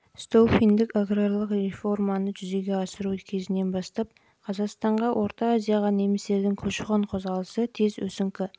столыпиндік аграрлық реформаны жүзеге асыру кезінен бастап қазақстанға және орта азияға немістердің көші-қон қозғалысы тез өсіңкі